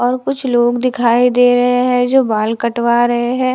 और कुछ लोग दिखाई दे रहे हैं जो बाल कटवा रहे हैं।